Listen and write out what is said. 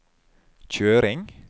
kjøring